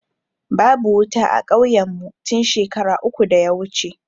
Babu wuta a kauyen mu tun shekara uku da ya wuce